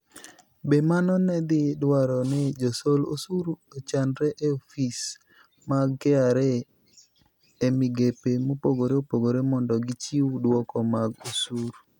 Be mano ne dhi dwaro ni josol osuru ochanre e ofise mag KRA e migepe mopogore opogore mondo gichiw dwoko mag osuru?